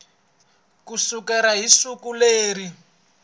ku sukela hi siku leri